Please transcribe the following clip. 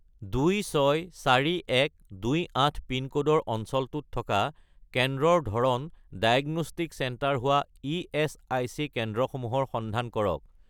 264128 পিনক'ডৰ অঞ্চলটোত থকা কেন্দ্ৰৰ ধৰণ ডায়েগনষ্টিক চেণ্টাৰ হোৱা ইএচআইচি কেন্দ্ৰসমূহৰ সন্ধান কৰক